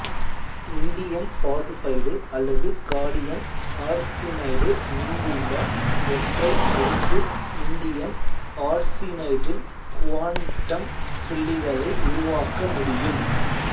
indium phosphide அல்லது gallium arsenide மீதுள்ள ஒற்றை அடுக்கு இண்டியம் ஆர்சினைடில் குவாண்டம் புள்ளிகளை உருவாக்க முடியும்